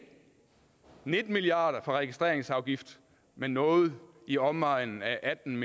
nitten milliard kroner fra registreringsafgiften men noget i omegnen af atten